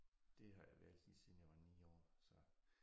Det har jeg været lige siden jeg var 9 år så